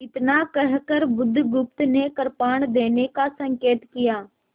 इतना कहकर बुधगुप्त ने कृपाण देने का संकेत किया